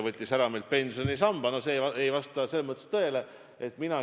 Kriisis on aru saadud, et majandusvaldkonnad tegutsevad inertsiga, tuleb ette tööd teha ja vaeva näha.